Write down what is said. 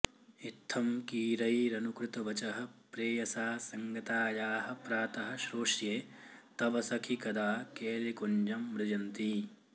इत्थं कीरैरनुकृतवचः प्रेयसा सङ्गतायाः प्रातः श्रोष्ये तव सखि कदा केलिकुञ्जं मृजन्ती